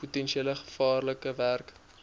potensieel gevaarlike werk